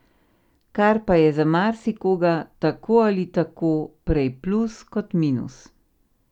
Kar pa je za marsikoga tako ali tako prej plus kot minus.